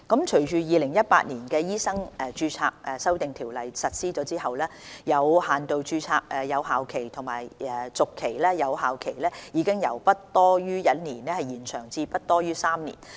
隨着《2018年醫生註冊條例》實施後，有限度註冊的有效期和續期有效期已由不多於1年延長至不多於3年。